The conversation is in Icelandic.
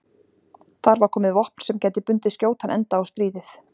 Þar var komið vopn sem gæti bundið skjótan enda á stríðið.